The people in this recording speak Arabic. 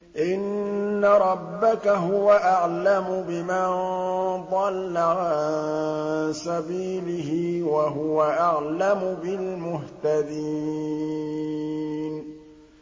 إِنَّ رَبَّكَ هُوَ أَعْلَمُ بِمَن ضَلَّ عَن سَبِيلِهِ وَهُوَ أَعْلَمُ بِالْمُهْتَدِينَ